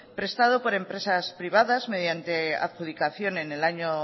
prestado por empresas privadas mediante adjudicación en el año